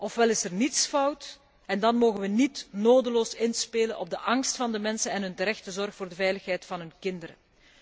ofwel is er niets fout en dan mogen we niet nodeloos inspelen op de angst van de mensen en hun terechte zorg voor de veiligheid van hun kinderen.